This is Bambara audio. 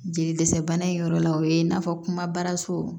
Jeli dɛsɛ bana in yɔrɔ la o ye i n'a fɔ kumabaso